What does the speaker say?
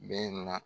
Bɛɛ na